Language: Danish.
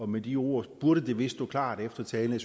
med de ord burde det vist stå klart efter talen